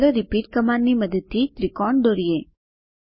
ચાલો રિપીટ કમાન્ડની મદદથી ત્રિકોણ દોરીએ